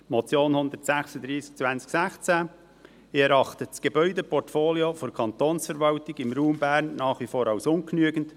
Zur Motion 136-2016: Ich erachte das Gebäudeportfolio der Kantonsverwaltung im Raum Bern nach wie vor als ungenügend.